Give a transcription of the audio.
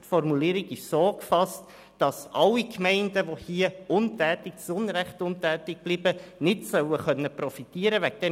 Die Formulierung ist so gefasst, dass keine Gemeinde, die zu Unrecht untätig bleibt, profitieren können soll.